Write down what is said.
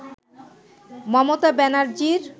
Mamata ব্যানার্জীর